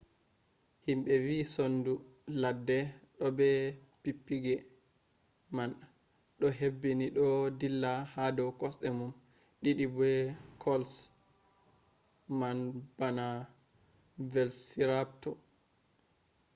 himɓe wi sondu ladde ɗo be pippige man ɗo hebbini ɗo ɗilla ha dow kosɗe mum ɗiɗi be kolş man bana velpsirapto